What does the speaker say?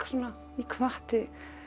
hvatti